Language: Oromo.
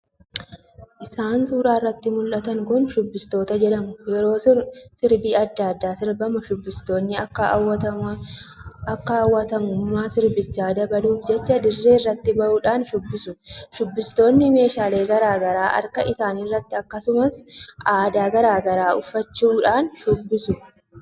Isaan suuraa irratti muldhatan kun shubbistoota jedhamu. yeroo sirbi addaa addaa sirbamu shubbistoonni akka hawatamummaan sirbichaa dabaluuf jecha dirree irratti ba'uudhaan shubbisu. shubbistoonni meeshaalee garaa garaa harkaa isaanitti akkasumas uffata aadaa garaa garaa uffachuudhaan shubbisu.